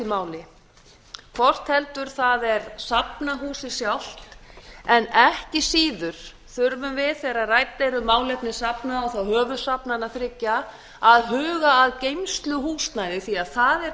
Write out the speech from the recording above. máli hvort heldur það er safnahúsið sjálft en ekki síður þurfum við þegar rædd eru málefni safna og þá höfuðsafnanna þriggja að huga að geymsluhúsnæði því það er